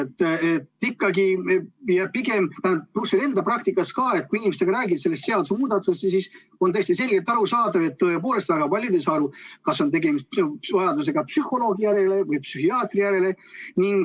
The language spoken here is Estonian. Ma pigem usun ikkagi seda, mida ma enda praktikas ka olen kogenud: kui inimestega sellest seadusemuudatusest rääkida, siis on täiesti selgelt arusaadav, et tõepoolest väga paljud ei saa aru, kas on tegemist vajadusega psühholoogi järele või psühhiaatri järele.